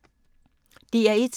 DR1